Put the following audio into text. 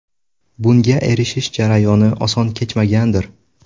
Bunga erishish jarayoni oson kechmagandir.